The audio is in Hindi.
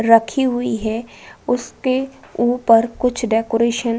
रखी हुई है। उसके ऊपर कुछ डेकोरेशन --